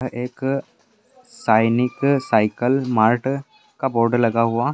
एक सैनिक cycle mart का बोर्ड लगा हुआ --